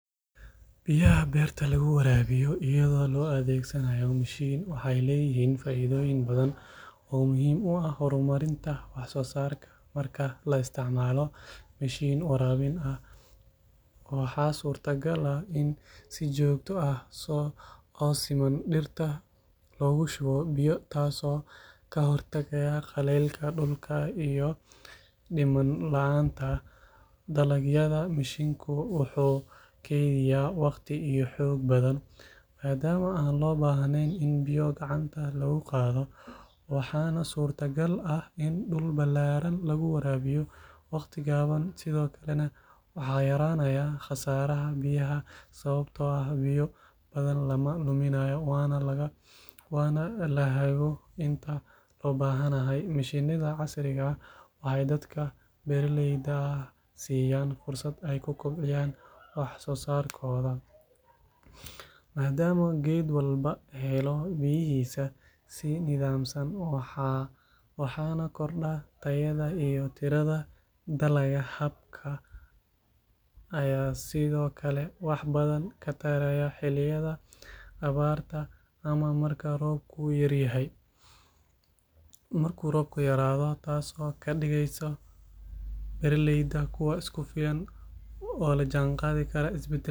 Xafladda qalin-jabintu waa munaasabad rasmi ah oo lagu maamuuso ardayda dhamaysatay heer waxbarasho oo gaar ah sida dugsiga sare, jaamacadda ama barnaamij xirfadeed. Waa waqti lagu muujiyo dadaalka, adkeysiga iyo guusha ardaydu gaareen muddadii ay waxbaranayeen. Xafladdu waxay badanaa dhacdaa sanadkiiba hal mar, waxaana kasoo qayb gala ardayda, macallimiinta, waalidiinta iyo marti sharaf kale. Goobta xafladdu ka dhacdo waxay noqon kartaa gudaha dugsiga, hool weyn ama meel bannaanka ah oo si qurux badan loo habeeyey. Inta lagu jiro xafladda, waxaa la qaataa khudbado dhiirrigelin leh oo ay jeedinayaan madaxda waxbarashada, martida rasmiga ah ama arday hormuud u ah kuwa kale. Waxaa sidoo kale la gashaa dhar gaar ah sida gown iyo cap, kuwaas oo astaan u ah heerka waxbarasho ee la dhammeeyey.